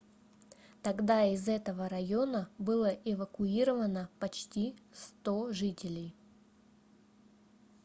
тогда из этого района было эвакуировано почти 100 жителей